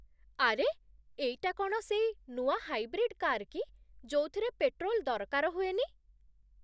ଆରେ! ଏଇଟା କ'ଣ ସେଇ ନୂଆ ହାଇବ୍ରିଡ୍ କାର୍ କି ଯୋଉଥିରେ ପେଟ୍ରୋଲ୍ ଦରକାର ହୁଏନି ?